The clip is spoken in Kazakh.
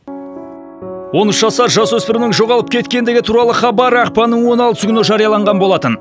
он үш жасар жасөспірімнің жоғалып кеткендігі туралы хабар ақпанның он алтысы күні жарияланған болатын